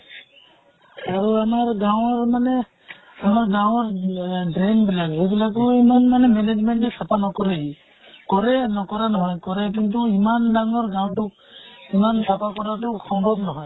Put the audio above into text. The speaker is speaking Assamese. আৰু আমাৰ গাঁৱৰ মানে আমাৰ গাঁৱৰ আহ drain বিলাক, সেই বিলাকো ইমান মানে management এ চাফা নকৰে। কৰে, নকৰা নহয়। কিন্তু ইমান ডাঙৰ গাওঁটোক ইমান চাফা কৰাতো সম্ভব নহয়।